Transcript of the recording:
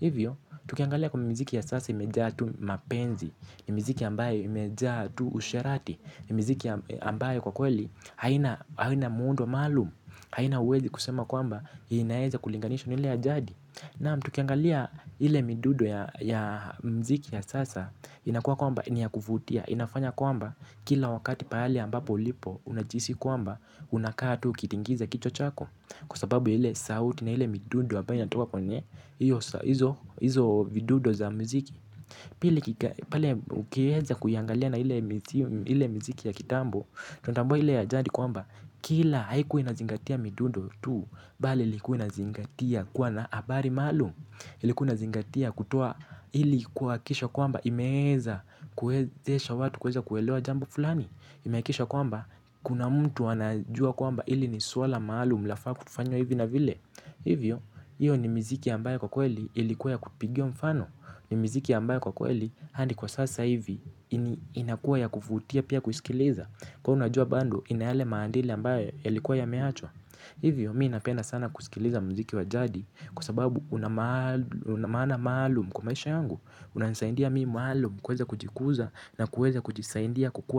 Hivyo, tukiangalia kwa mziki ya sasa imejaa tu mapenzi. Ni mziki ambayo imejaa tu usherati. Ni mziki ambayo kwa kweli haina muundo maalum. Haina hauwezi kusema kwamba inaeza kulinganishwa na ile yaj adi. Naam, tukiangalia ile midudo ya mziki ya sasa. Inakuwa kwamba ni ya kuvutia. Inafanya kwamba kila wakati pahali ambapo ulipo. Unajihisi kwamba unakaa tu kitingiza kichwa chako. Kwa sababu ya ile sauti na ile midudo ambayo inatoka kwenye izo vidudo za mziki. Pili ukiweza kuiangalia na ile mziki ya kitambo kila haikuwa inazingatia. Midudo tu mBali ilikuwa inazingatia kuwa na habari maalum. Kutoa ili kuhakikisha kwamba imeweza kuezesha watu. Kuweza kuelewa jambo fulani. Imehakikisha kwamba kuna mtu anajua kwamba ili ni swala maalum. Lafaa kufanywa hivi na vile. Hivyo, hiyo ni miziki ambayo kwa kweli ilikuwa ya kupigiwa mfano. Ni mziki ambayo kwa kweli hadi kwa sasa hivo inakuwa ya kuvutia pia kuisikiliza. Kwan unajua bando ina yale maandili ambayo yalikuwa yameachwa. Hivyo, mimi napenda sana kusikiliza mziki wa jadi kwa sababu una maana maalum kwa maisha yangu. Unanisaindia mimi maalum kuweza kujikuza na kuweza kujisaindia kukua.